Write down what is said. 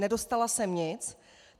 Nedostala jsem nic.